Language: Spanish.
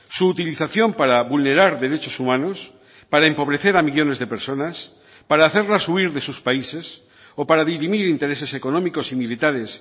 su utilización para vulnerar derechos humanos para empobrecer a millónes de personas para hacerlas huir de sus países o para dirimir intereses económicos y militares